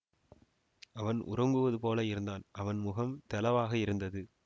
அவன் உறங்குவது போல இருந்தான் அவன் முகம் தௌவாக இருந்தது